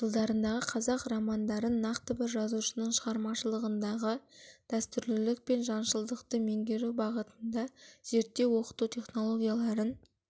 жылдарындағы қазақ романдарын нақты бір жазушының шығармашылығындағы дәстүрлілік пен жаңашылдықты меңгерту бағытында зерттеу оқыту технологияларын